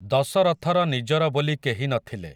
ଦଶରଥର ନିଜର ବୋଲି କେହି ନ ଥିଲେ ।